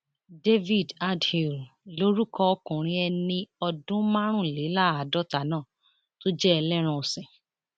david andhl lorúkọ ọkùnrin ẹni ọdún márùnléláàádọta náà tó jẹ ẹlẹran ọsìn